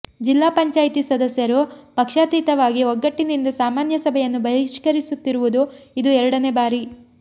ಜಿಲ್ಲಾ ಪಂಚಾಯಿತಿ ಸದಸ್ಯರು ಪಕ್ಷಾತೀತವಾಗಿ ಒಗ್ಗಟ್ಟಿನಿಂದ ಸಾಮಾನ್ಯ ಸಭೆಯನ್ನು ಬಹಿಷ್ಕರಿಸುತ್ತಿರುವುದು ಇದು ಎರಡನೇ ಬಾರಿ